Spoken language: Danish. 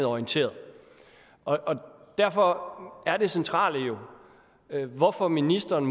orienteret derfor er det centrale jo hvorfor ministeren